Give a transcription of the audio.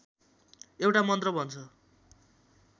एउटा मन्त्र भन्छ